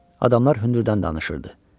Adamlar hündürdən danışırdı.